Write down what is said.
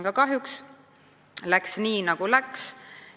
Aga kahjuks läks nii, nagu läks.